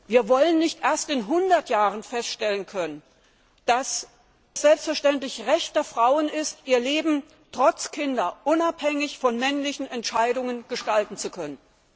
Wir wollen nicht erst in hundert Jahren feststellen können, dass es selbstverständlich das Recht der Frauen ist, ihr Leben trotz Kindern unabhängig von männlichen Entscheidungen gestalten zu können!